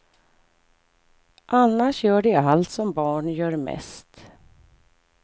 Annars gör de allt som barn gör mest.